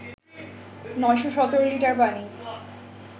৯১৭ litre পানি